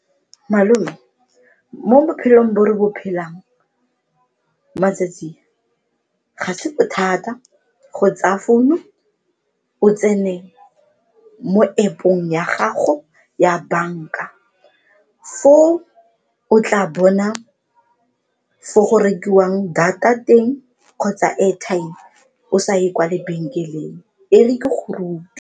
Malome mo bophelong bo re bo phelang matsatsing ga se bothata go tsaya founu o tsene mo App-ong ya gago ya banka, foo o tla bona fo go rekiwang data teng kgotsa airtime o sa ye kwa lebenkeleng, e re ke go rute.